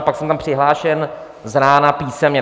A pak jsem tam přihlášen z rána písemně.